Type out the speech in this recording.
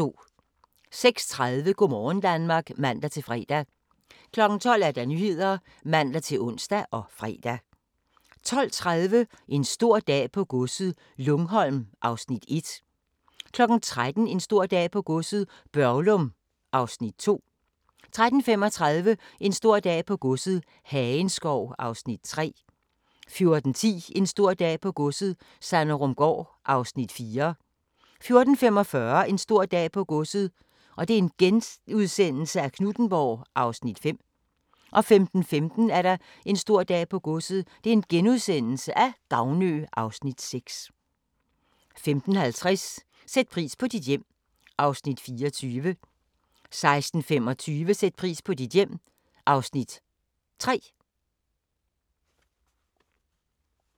06:30: Go' morgen Danmark (man-fre) 12:00: Nyhederne (man-ons og fre) 12:30: En stor dag på godset - Lungholm (Afs. 1) 13:00: En stor dag på godset - Børglum (Afs. 2) 13:35: En stor dag på godset - Hagenskov (Afs. 3) 14:10: En stor dag på godset - Sanderumgaard (Afs. 4) 14:45: En stor dag på godset - Knuthenborg (Afs. 5)* 15:15: En stor dag på godset - Gavnø (Afs. 6)* 15:50: Sæt pris på dit hjem (Afs. 24) 16:25: Sæt pris på dit hjem (Afs. 3)